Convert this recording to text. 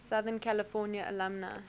southern california alumni